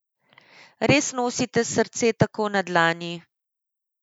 Res nosite srce tako na dlani?